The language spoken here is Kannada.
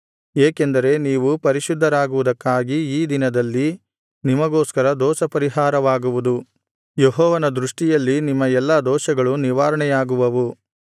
ಏಕೆಂದರೆ ನೀವು ಪರಿಶುದ್ಧರಾಗುವುದಕ್ಕಾಗಿ ಈ ದಿನದಲ್ಲಿ ನಿಮಗೋಸ್ಕರ ದೋಷಪರಿಹಾರವಾಗುವುದು ಯೆಹೋವನ ದೃಷ್ಟಿಯಲ್ಲಿ ನಿಮ್ಮ ಎಲ್ಲಾ ದೋಷಗಳು ನಿವಾರಣೆಯಾಗುವವು